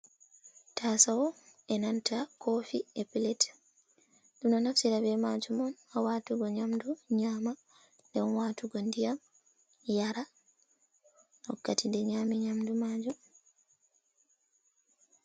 Taasawo e nanta koofi, e pilet, ɗum ɗo nftira bee maajum haa watugo nyamdu nyama, nden waatugo nɗiyam yara, wakkati nde nyami nyamdu maajum.